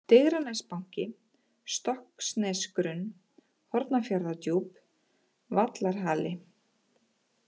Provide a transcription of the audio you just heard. Digranesbanki, Stokksnesgrunn, Hornafjarðardjúp, Vallarhali